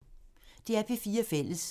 DR P4 Fælles